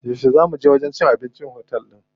Yauce zaa muje wajen cin abincin otel din?